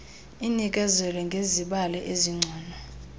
inikezele ngezibalo ezingcono